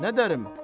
Nə dərəm?